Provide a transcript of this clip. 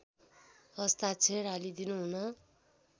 हस्ताक्षर हालीदिनु हुन